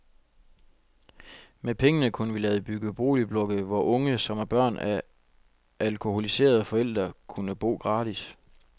Med pengene kunne vi lade bygge boligblokke, hvor unge, som er børn af alkoholiserede forældre, kunne bo gratis.